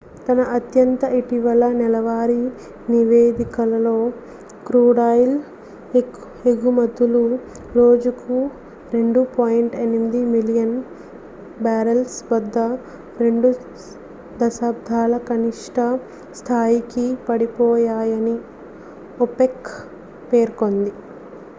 తన అత్యంత ఇటీవల నెలవారీ నివేదికలో క్రూడాయిల్ ఎగుమతులు రోజుకు 2.8 మిలియన్ బ్యారల్స్ వద్ద రెండు దశాబ్దాల కనిష్ట స్థాయికి పడిపోయాయని ఒపెక్ పేర్కొంది